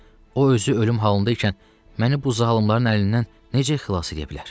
O özü ölüm halındaykən məni bu zalımların əlindən necə xilas edə bilər?